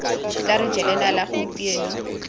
tla re jela nala gompieno